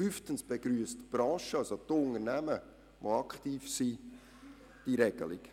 Fünftens begrüssen die Branche respektive die Unternehmen diese Regelung.